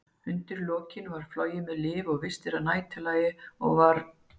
Undir lokin var flogið með lyf og vistir að næturlagi, og var